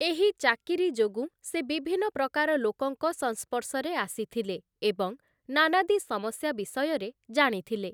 ଏହି ଚାକିରି ଯୋଗୁଁ ସେ ବିଭିନ୍ନ ପ୍ରକାର ଲୋକଙ୍କ ସଂସ୍ପର୍ଶରେ ଆସିଥିଲେ ଏବଂ ନାନାଦି ସମସ୍ୟା ବିଷୟରେ ଜାଣିଥିଲେ ।